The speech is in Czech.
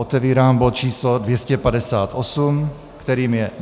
Otevírám bod číslo 258, kterým je